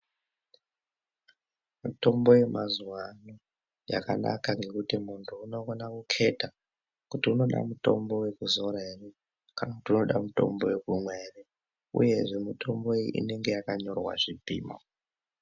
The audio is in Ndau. Mitombo yemazuwaano yakanaka ngekuti muntu unokona kukheta kuti unoda mutombo wekuzora ere kana kuti unoda mutombo wekumwa ere uye zvee mutombo iyi inenge yakanyorwa zvipimo.